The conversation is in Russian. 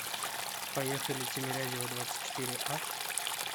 поехали тимирязева двадцатьчетыреа